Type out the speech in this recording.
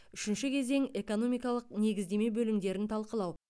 үшінші кезең экономикалық негіздеме бөлімдерін талқылау